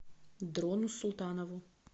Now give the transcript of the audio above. дрону султанову